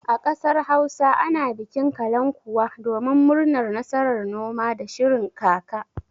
A ƙasar Hausa ana bikin kalankuwa domin murnar nasarar noma da shirin kaka.